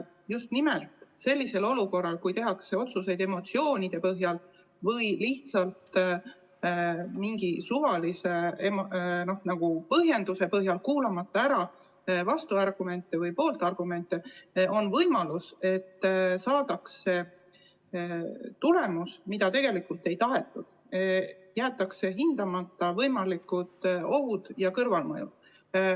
Just siis, kui otsuseid tehakse emotsioonide põhjal või lihtsalt mingi suvalise põhjenduse alusel, kuulamata ära vastu- ja pooltargumente, on võimalus, et saadakse tulemus, mida tegelikult ei tahetud, sest jäetakse hindamata võimalikud ohud ja kõrvalmõjud.